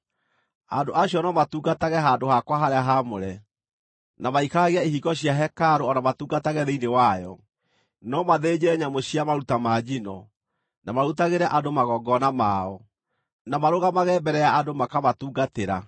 Andũ acio no matungatage handũ-hakwa-harĩa-haamũre, na maikaragie ihingo cia hekarũ o na matungatage thĩinĩ wayo; no mathĩnje nyamũ cia maruta ma njino, na marutagĩre andũ magongona mao, na marũgamage mbere ya andũ makamatungatĩra.